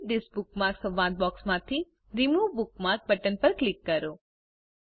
edit this bookmark સંવાદ બોક્સમાંથી remove bookmark button પર ક્લિક કરો